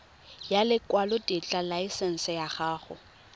ya lekwalotetla laesense ya go